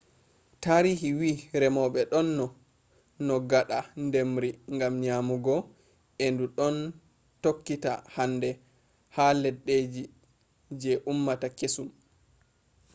tarihi wi'i remoɓe ɗon no no ngaɗa ndemri ngam nyamugo e ndu ɗon tokkita hande ha leddije je ummata kesum